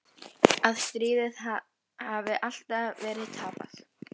Að stríðið hafi alltaf verið tapað.